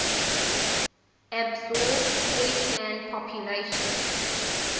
absorbed khoisan populations